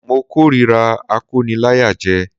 Mo k'órira akóniláyàjẹ